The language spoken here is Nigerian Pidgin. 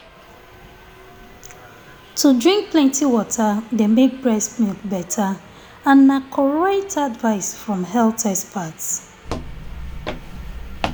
to drink plenty water dey make breast milk better and na correct advice from health experts